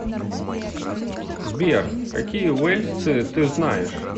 сбер какие уэльсцы ты знаешь